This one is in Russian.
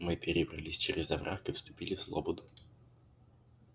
мы перебрались через овраг и вступили в слободу